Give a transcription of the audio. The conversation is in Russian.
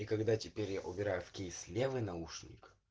и когда теперь я убираю в кейс левый наушник